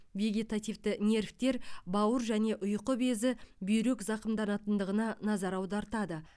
вегетативті нервтер бауыр және ұйқы безі бүйрек зақымданатындығына назар аудартады